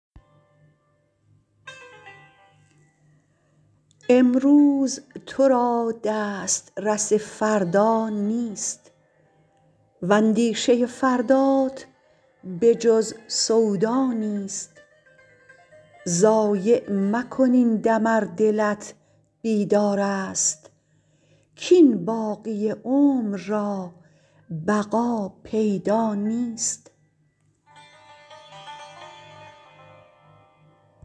امروز تو را دسترس فردا نیست و اندیشه فردات به جز سودا نیست ضایع مکن این دم ار دلت بیدار است کاین باقی عمر را بقا پیدا نیست